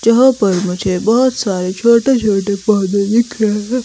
जहां पर मुझे बहोत सारे छोटे छोटे पौधे दिख रहे हैं।